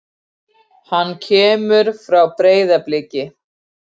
Hann kemur frá Breiðabliki.